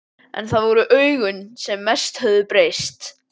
En það voru augun sem mest höfðu breyst.